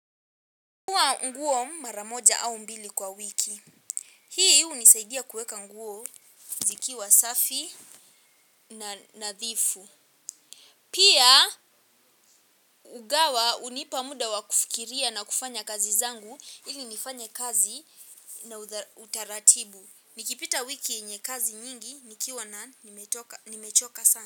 Nafua nguo mara moja au mbili kwa wiki. Hii hunisaidia kuweka nguo zikiwa safi na nadhifu. Pia hugawa hunipa muda wakufikiria na kufanya kazi zangu ili nifanye kazi na utaratibu. Nikipita wiki yenye kazi nyingi nikiwa na nimechoka sana.